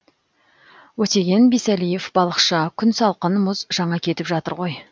өтеген бисәлиев балықшы күн салқын мұз жаңа кетіп жатыр ғой